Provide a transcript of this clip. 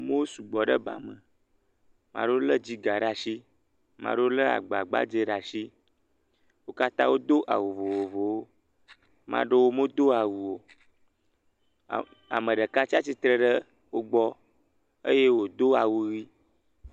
Amewo sugbɔ ɖe ba me, amewo lé dziga ɖe asi, ame aɖewo lé agba gbadzɛ ɖe asi, wo katã do awu vovovowo, ame aɖewo medo awu o, ame ɖeka tsatsitre ɖe wo gbɔ eye wòdo awu ʋi.